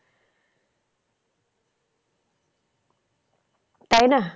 তাই না?